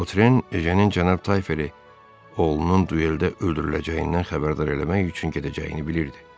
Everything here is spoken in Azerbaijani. Votren Ejenin cənab Tayferi, oğlunun dueldə öldürüləcəyindən xəbərdar eləmək üçün gedəcəyini bilirdi.